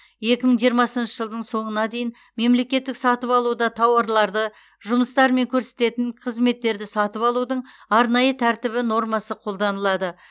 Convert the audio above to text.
екі мың жиырмасыншы жылдың соңына дейін мемлекеттік сатып алуда тауарларды жұмыстар мен көрсетілетін қызметтерді сатып алудың арнайы тәртібі нормасы қолданылады